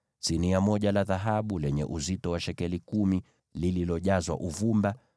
sinia moja la dhahabu lenye uzito wa shekeli kumi, likiwa limejazwa uvumba;